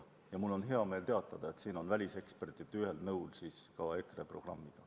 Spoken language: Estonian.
Ja mul on hea meel teatada, et siin on väliseksperdid ühel nõul ka EKRE programmiga.